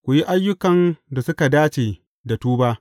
Ku yi ayyukan da suka dace da tuba.